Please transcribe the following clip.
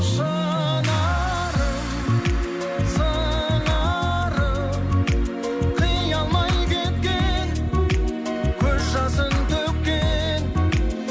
шынарым сыңарым қия алмай кеткен көз жасын төккен